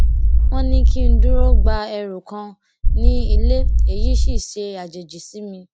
wón ní kí n dúró gba ẹrù kan ní ilé èyí sì ṣàjèjì sí mi